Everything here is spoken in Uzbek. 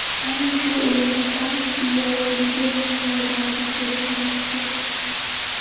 Aynan shu o‘rinda kvant chigalligi yordamga kelishi mumkin.